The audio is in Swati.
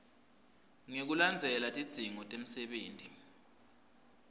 ngekulandzela tidzingo temsebenti